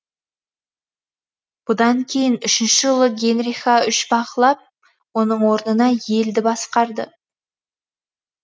бұдан кейін үшінші ұлы генриха үш бақылап оның орнына елді басқарды